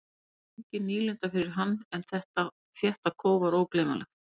Snjór var engin nýlunda fyrir hann en þetta þétta kóf var ógleymanlegt.